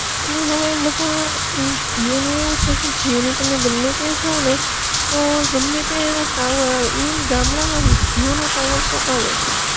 અને હવે બધા અમ જીઓ નું એવું છે કે, જીઓ નું તમે ગયા જાવ ને તો ગમે ત્યાં એનો ટાવર આવે ઈવન ગામડા માં ભી જીઓ નો ટાવર તો આવે જ